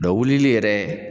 Dɔn wulili yɛrɛ